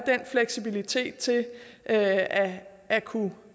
fleksibiliteten til at at kunne